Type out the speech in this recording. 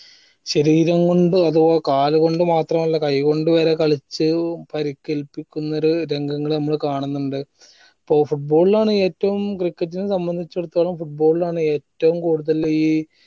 ശരീരം കൊണ്ടും അത് പോലെ കാല് കൊണ്ട് മാത്രല്ല കൈകൊണ്ട് വരെ കളിച്ച് ഏർ പരിക്കേൽപ്പിക്കുന്നൊരു രംഗങ്ങള് നമ്മള് കാണുന്നുണ്ട് അപ്പൊ football ലാണ് ഏറ്റവും cricket നെ സംബന്ധിച്ചെടുത്തോളം football ലാണ് ഏറ്റവും കൂടുതലീ